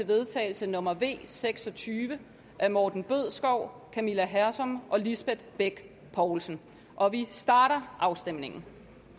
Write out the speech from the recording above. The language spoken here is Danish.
vedtagelse nummer v seks og tyve af morten bødskov camilla hersom og lisbeth bech poulsen og vi starter afstemningen